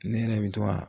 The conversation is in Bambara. Ne yɛrɛ bɛ to ka